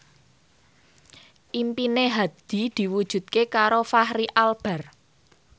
impine Hadi diwujudke karo Fachri Albar